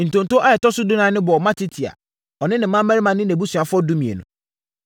Ntonto a ɛtɔ so dunan no bɔɔ Matitia, ɔne ne mmammarima ne nʼabusuafoɔ (12)